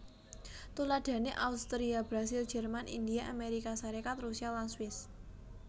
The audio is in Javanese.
Tuladhané Austria Brasil Jerman India Amérika Sarékat Rusia lan Swiss